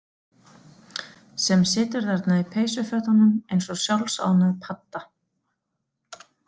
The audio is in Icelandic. Sem situr þarna í peysufötunum eins og sjálfsánægð padda.